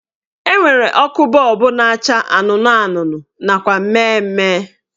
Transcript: Enwere ọkụ bọọbụ na-acha anụnụ anụnụ nakwa mmemme